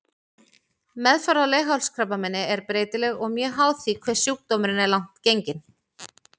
Meðferð á leghálskrabbameini er breytileg og mjög háð því hve sjúkdómurinn er langt genginn.